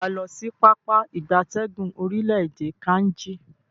Se waa lo si Pápá ìgbatẹ́gùn orile-ede Kainji?